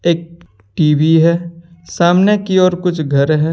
एक टीवी है सामने की और कुछ घर है।